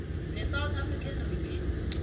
nesouth african revenue